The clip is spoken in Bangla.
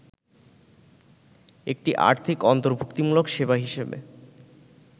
একটি আর্থিক অন্তর্ভূক্তিমূলক সেবা হিসেবে